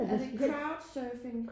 Er det crowdsurfing?